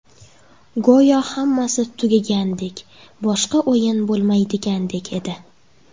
Go‘yo hammasi tugagandek, boshqa o‘yin bo‘lmaydigandek edi.